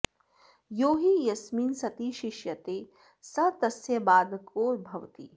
यो हि यस्मिन् सति शिष्यते स तस्य बाधको भवति